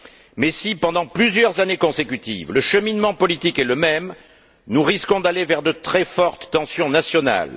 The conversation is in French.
Mais si, pendant plusieurs années consécutives, le cheminement politique est le même, nous risquons d'aller vers de très fortes tensions nationales.